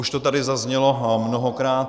Už to tady zaznělo mnohokrát.